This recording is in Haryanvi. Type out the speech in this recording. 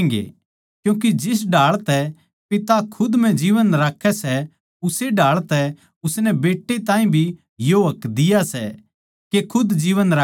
क्यूँके जिस ढाळ तै पिता खुद म्ह जीवन राक्खै सै उस्से ढाळ तै उसनै बेट्टै ताहीं भी यो हक दिया सै के खुद जीवन राक्खै